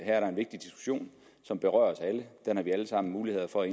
er der en vigtig diskussion som berører os alle den har vi alle sammen mulighed for